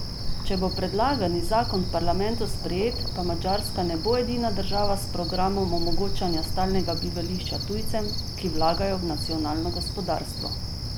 Če bo predlagani zakon v parlamentu sprejet, pa Madžarska ne bo edina država s programom omogočanja stalnega bivališča tujcem, ki vlagajo v nacionalno gospodarstvo.